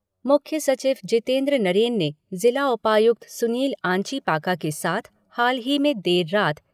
मुख्य सचिव जितेंद्र नरेन ने जिला उपायुक्त सुनील आंचीपाका के साथ हाल ही में देर रात